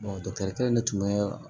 dɔkitɛri kelen tun bɛ